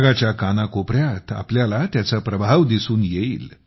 जगाच्या कानाकोपऱ्यात तुम्हाला त्याचा प्रभाव दिसून येईल